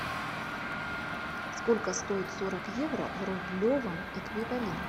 сколько стоит сорок евро в рублевом эквиваленте